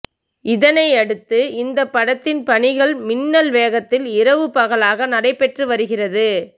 இதனையடுத்து இந்த படத்தின் பணிகள் மின்னல் வேகத்தில் இரவுபகலாக நடைபெற்று வருகிறது